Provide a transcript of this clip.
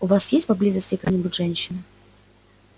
у вас есть поблизости какая-нибудь женщина